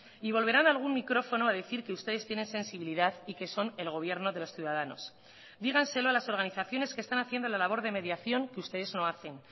y volverán a algún micrófono a decir que ustedes tienen sensibilidad y que son el gobierno de los ciudadanos díganselo a las organizaciones que están haciendo la labor de mediación que ustedes no hacen